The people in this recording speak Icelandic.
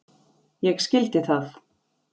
Ég skildi það.